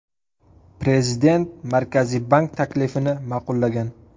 Prezident Markaziy bank taklifini ma’qullagan.